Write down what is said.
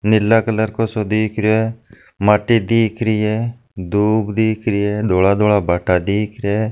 नीला colour का सो दिख रहा हैं माटी देख रही है धुप दिख रही है धोला धोला बाटा दीख रहा है।